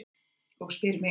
Og spyr mig: